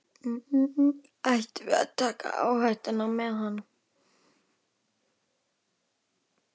Ættum við að taka áhættu með hann?